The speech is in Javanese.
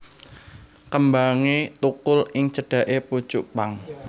Kembangé thukul ing cedhaké pucuk pang